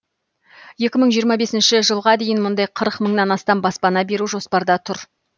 екі мың жиырма бесінші жылға дейін мұндай қырық мыңнан астам баспана беру жоспарда тұр